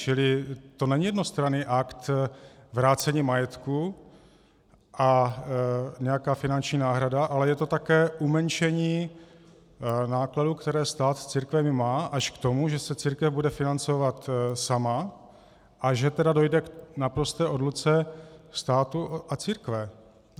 Čili to není jednostranný akt vrácení majetku a nějaká finanční náhrada, ale je to také umenšení nákladů, které stát s církvemi má, až k tomu, že se církev bude financovat sama, a že tedy dojde k naprosté odluce státu a církve.